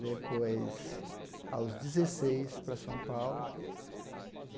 Depois, aos dezesseis, para São Paulo.